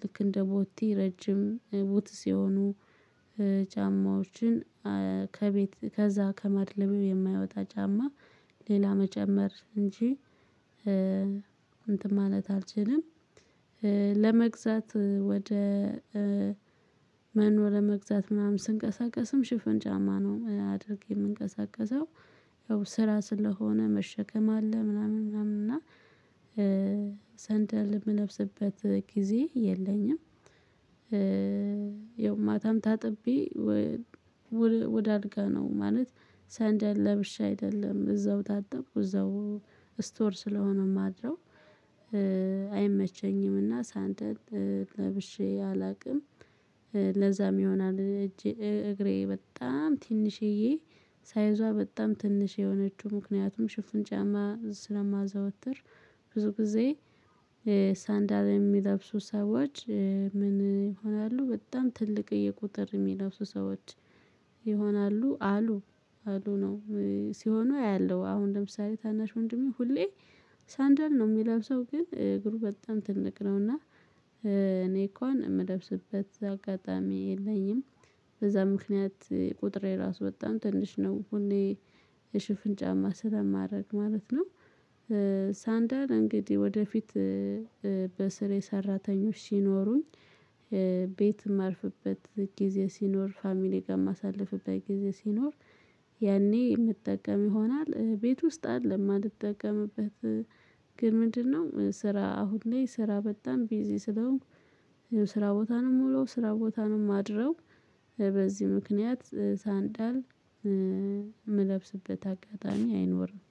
ልክ እንደ ቦቲ ረጅም ቦት ሲሆኑ ጫማዎችን ከቤት ከዛ ከማድለም የማይወጣ ጫማ ሌላ መጨመር እንጂ እንትን ማለት አልችልም። ለመግዛት ወደ መኖ ለመግዛት ምናምን ስንቀሳቀስም ሽፍን ጫማ ነው አድርጌ የምንቀሳቀሰው። ያው ስራ ስለሆነ መሸከም አለ ምናምን ምናምን እና ሰንደል የምለብስበት ጊዜ የለኝም። የውም ማታም ታጥቤ ወደ አልጋ ነው ማለት ሰንደል ለብሻ አይደለም እዛው ታጠብኩ እዛው ስቶር ስለሆነም ማድረው። አይመቸኝምና ሳንደል ለብሼ አላውቅም። ለዛም ይሆናል እጅ እግሬ በጣም ትንሿዬ ሳይዟ በጣም ትንሽ የሆነችው ምክንያቱም ሽፍን ጫማ ስለማዘወትር። ብዙ ጊዜ። ሳንዳላ የሚለብሱ ሰዎች ምን ይሆናሉ በጣም ትልቅ የቁጥር የሚለብሱ ሰዎች ይሆናሉ አሉ አሉ ነው። ሲሆኑ ያያለው አሁን ለምሳሌ ታናሽ ወንድሜ ሁሌ ሳንደል ነው የሚለብሰው ግን እግሩ በጣም ትልቅ ነውና። እኔ እኮ ነው የምለብስበት አጋጣሚ የለኝም። በዛ ምክንያት ቁጥር የራሱ በጣም ትንሽ ነው እኔ የሽፍን ጫማ ስለማድረግ ማለት ነው። ሳንዳር እንግዲህ ወደፊት በስር የሰራተኞች ሲኖሩኝ ቤት ማርፍበት ጊዜ ሲኖር ፋሚሊ ጋር ማሳለፍበት ጊዜ ሲኖር ያኔ የምጠቀም ይሆናል። ቤት ውስጥ አለ የማልጠቀምበት። ግን ምንድነው ስራ አሁን ላይ ስራ በጣም ቢዚ ስለሆንኩ ስራ ቦታ ነው ምውለው ስራ ቦታ ነው ማድረው በዚህ ምክንያት ሳንዳል የምለብስበት አጋጣሚ አይኖርም